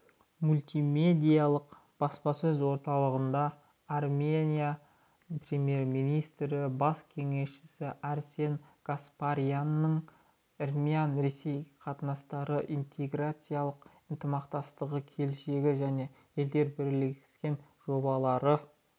мультимедиалық баспасөз орталығындаармения премьер-министрінің бас кеңесшісі арсен гаспарянның армян-ресей қатынастары интеграциялық ынтымақтастығы келешегі және елдерінің бірлескен жобалары